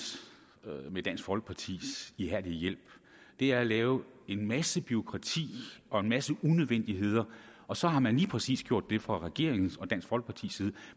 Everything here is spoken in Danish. med dansk folkepartis ihærdige hjælp er at lave en masse bureaukrati og en masse unødvendigheder og så har man lige præcis gjort det fra regeringen og dansk folkepartis side at